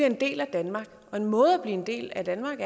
en del af danmark og en måde at blive en del af danmark